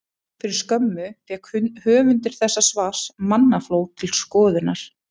Fyrir skömmu fékk höfundur þessa svars mannafló til skoðunar.